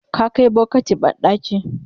ka Kai bokati banɗaki?